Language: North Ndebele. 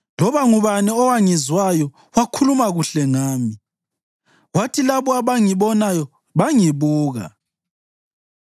Loba ngubani owangizwayo wakhuluma kuhle ngami, kwathi labo abangibonayo bangibuka,